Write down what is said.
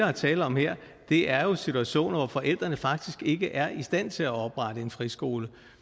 er tale om her er jo situationer hvor forældrene faktisk ikke er i stand til at oprette en friskole